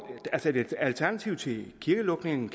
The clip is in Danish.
kan et alternativ til en kirkelukning